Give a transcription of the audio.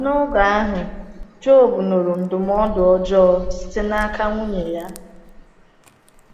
N’oge ahụ, Jọb nụrụ ndụmọdụ ọjọọ site n’aka nwunye ya.